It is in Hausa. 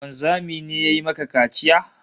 Wanzami ne ya yi maka kaciya?